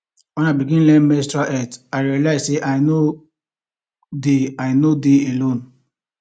when i begin learn menstrual health i realize say i no dey i no dey alone